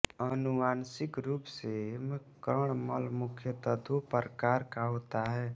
अनुवांशिक रूप से कर्णमल मुख्यतः दो प्रकार का होता है